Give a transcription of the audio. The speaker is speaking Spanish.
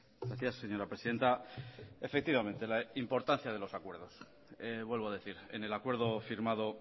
gracias señora presidenta efectivamente la importancia de los acuerdos vuelvo a decir en el acuerdo firmado